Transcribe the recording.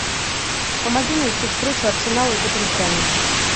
помоги найти встречу арсенала и тоттенхэма